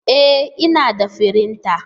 E! Ina da firinta